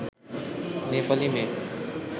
নেপালী মেয়ে